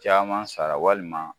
Caman sara walima